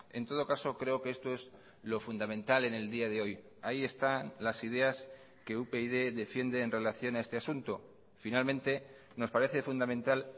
en todo caso creo que esto es lo fundamental en el día de hoy ahí están las ideas que upyd defiende en relación a este asunto finalmente nos parece fundamental